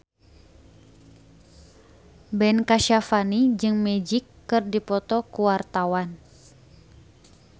Ben Kasyafani jeung Magic keur dipoto ku wartawan